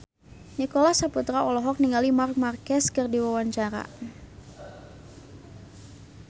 Nicholas Saputra olohok ningali Marc Marquez keur diwawancara